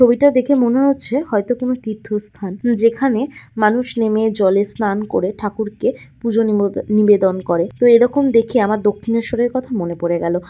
ছবিটা দেখে মনে হচ্ছে হয়তো কোন তীর্থস্থান যেখানে মানুষ নেমে জলে স্নান করে ঠাকুরকে পুজো নিমন নিবেদন করে তো এরকম দেখে আমার দক্ষিণেশ্বরের কথা মনে পড়ে গেল।